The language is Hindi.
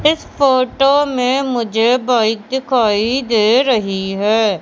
इस फोटो में मुझे बाइक दिखाई दे रही हैं।